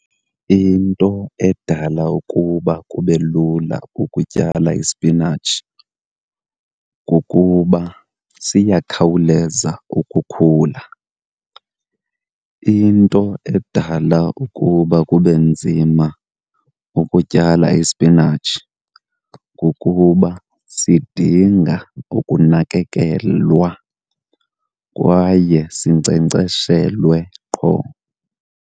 Into edala ukuba kube lula ukutyala isipinatshi kukuba siyakhawuleza ukukhula. Into edala ukuba kube nzima ukutyala isipinatshi kukuba sidinga ukunakekelwa kwaye sinkcenkceshelwe qho.